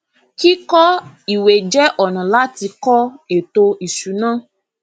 kíkọ ìwé jẹ ọnà láti kọ ètò ìsúná